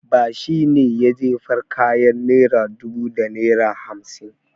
Ba shi ne ya jefar kayan naira dubu da naira hamsin.